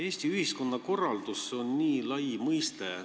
Eesti ühiskonna korraldus on nii lai mõiste.